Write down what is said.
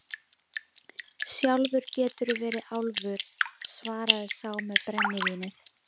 Sjálfur geturðu verið álfur, svaraði sá með brennivínið.